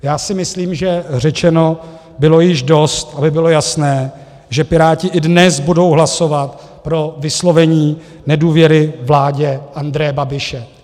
Já si myslím, že řečeno bylo již dost, aby bylo jasné, že Piráti i dnes budou hlasovat pro vyslovení nedůvěry vládě Andreje Babiše.